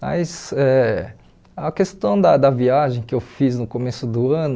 Mas eh a questão da da viagem que eu fiz no começo do ano